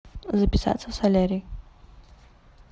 записаться в солярий